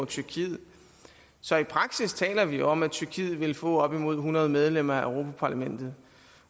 tyrkiet så i praksis taler vi om at tyrkiet ville få op imod hundrede medlemmer af europa parlamentet